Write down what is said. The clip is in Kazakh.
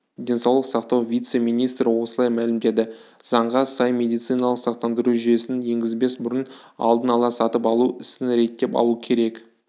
денсаулық сақтау вице-министрі осылай мәлімдеді заңға сай медициналық сақтандыру жүйесін енгізбес бұрын алдын ала сатып алу ісін реттеп алу керек